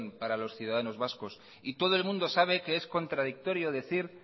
para los ciudadanos vascos y todo el mundo sabe que es contradictorio decir